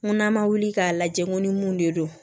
N ko n'an ma wuli k'a lajɛ n ko ni mun de don